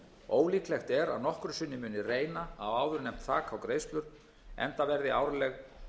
ólíklegt er að nokkru sinni muni reyna á áðurnefnt þak á greiðslur enda verði árleg